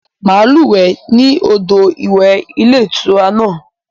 Màá lúwè ẹ́ ní odò ìwẹ̀ ilé ìtura náà